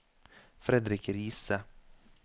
Fredrik Riise